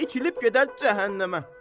İtilib gedər cəhənnəmə.